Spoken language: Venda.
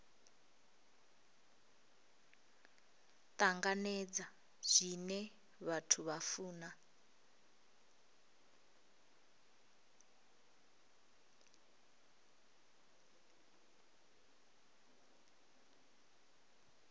tanganedza zwine vhathu vha funa